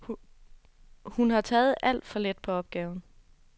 Hun har taget alt for let på opgaven.